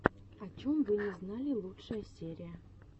о чем вы не знали лучшая серия